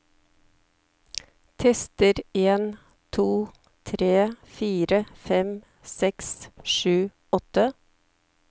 Tester en to tre fire fem seks sju åtte